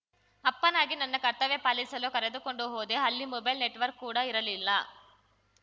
ಅಪ್ಪನಾಗಿ ನನ್ನ ಕರ್ತವ್ಯ ಪಾಲಿಸಲು ಕರೆದುಕೊಂಡು ಹೋದೆ ಅಲ್ಲಿ ಮೊಬೈಲ್‌ ನೆಟ್‌ವರ್ಕ್ ಕೂಡಾ ಇರಲಿಲ್ಲ